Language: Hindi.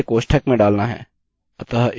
अतः इसे कोष्ठक में डालते हैं